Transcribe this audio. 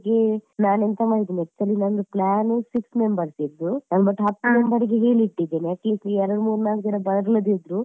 ಅದಕ್ಕೆ ನಾನು ಎಂತ ಮಾಡಿದ್ದೇನೆ actually ನಂದು plan six members ಇದು ಅದು ಮತ್ತೆ ಹತ್ತು ಜನರಿಗೆ ಹೇಳಿಟ್ಟಿದ್ದೇನೆ at least ಎರಡು ಮೂರು ನಾಲ್ಕು ಜನ ಬರದಿದ್ದರೂ